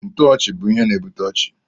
Ntoochi bụ ihe na ebute ọchị.